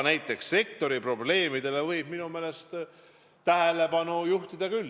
Ent sektori probleemidele võib tähelepanu juhtida küll.